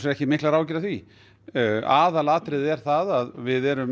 ekki miklar áhyggjur af því aðalatriði er að við erum